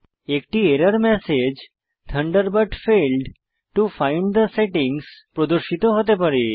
একটি error message Thunderbird failed to find the settings প্রদর্শিত হতে পারে